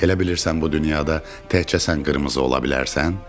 Elə bilirsən bu dünyada təkcə sən qırmızı ola bilərsən?